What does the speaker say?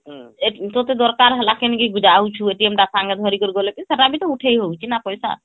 ତତେ ଦରକାର ହେଲା କେଣିକି ଯାଉଛୁ ଟା ସାଙ୍ଗରେ ଧରିକରି ଗଲେ ବି ସେଟା ବି ତ ଉଠେଇ ହଉଛି ନା ପଇସା